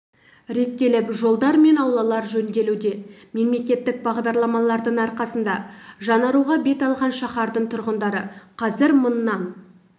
реттеліп жолдар мен аулалар жөнделуде мемлекеттік бағдарламалардың арқасында жаңаруға бет алған шаһардың тұрғындары қазір мыңнан